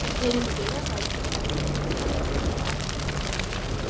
Hinum dauðadæmda var ekið í vagni til aftökustaðarins.